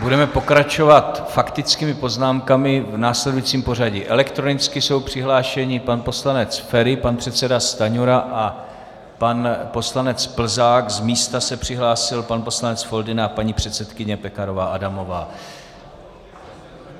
Budeme pokračovat faktickými poznámkami v následujícím pořadí: elektronicky jsou přihlášeni pan poslanec Feri, pan předseda Stanjura a pan poslanec Plzák, z místa se přihlásil pan poslanec Foldyna a paní předsedkyně Pekarová Adamová.